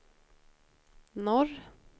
norr